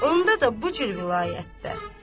Onda da bu cür vilayətdə.